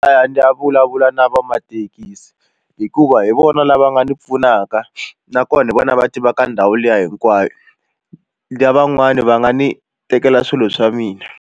Ta ya ndzi ta vulavula na vamathekisi hikuva hi vona lava nga ni pfunaka nakona hi vona lava tiva ka ndhawu liya hinkwayo lavan'wani va nga ni tekela swilo swa mina.